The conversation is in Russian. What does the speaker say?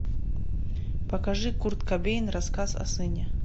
покажи курт кобейн рассказ о сыне